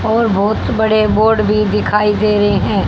और बहोत बड़े बोर्ड भी दिखाई दे रहे हैं।